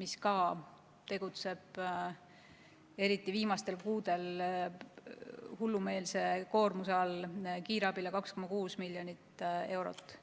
mis samuti tegutseb, eriti viimastel kuudel, hullumeelse koormuse all, 2,6 miljonit eurot.